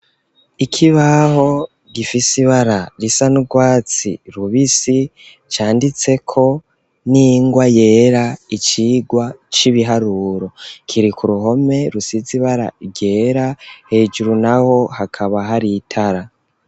Ikibaho gifise ibara risa n'urwatsi rubisi canditseko n'ingwa yera, icigwa c'ibiharuro kiri ku ruhome rusize ibara ryera, hejuru n'aho hakaba hari itara.